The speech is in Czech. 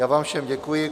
Já vám všem děkuji.